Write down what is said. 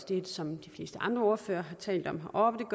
det som de fleste andre ordførere har talt om om